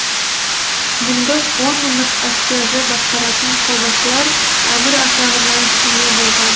мыңдық он мыңдық әскерді басқаратын қолбасылар әмір атағына ие болған